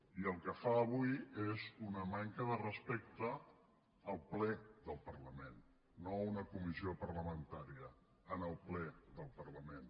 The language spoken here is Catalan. i el que fa avui és una manca de respecte al ple del parlament no a una comissió parlamentària al ple del parlament